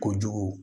Kojugu